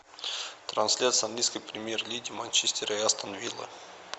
трансляция английской премьер лиги манчестер и астон вилла